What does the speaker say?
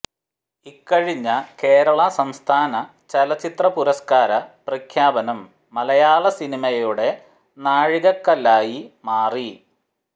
ഇക്കഴിഞ്ഞ കേരള സംസ്ഥാന ചലച്ചിത്ര പുരസ്കാര പ്രഖ്യാപനം മലയാള സിനിമയുടെ നാഴികക്കല്ലായി മാറി